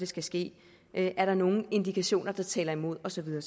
skal ske er der nogle indikationer der taler imod og så videre